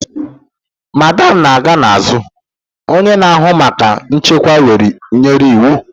Madam na-aga n'azụ! Onye na-ahụ maka nchekwa nyere iwu.